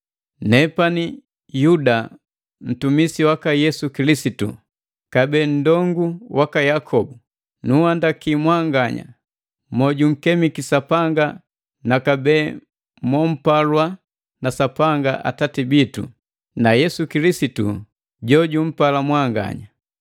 Nepani Yuda ntumisi waka Yesu Kilisitu kabee nundongu waka Yakobu. Nunhandaki mwanganya mojunkemiki Sapanga na kabee mompalwa na Sapanga Atati bitu, na Yesu Kilisitu jojuntunza mwanganya.